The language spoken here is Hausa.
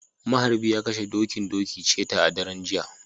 maharbi ya kashe, dokin doki, cheta a daren jiya